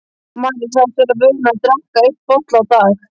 María sagðist vera vön að drekka einn bolla á dag.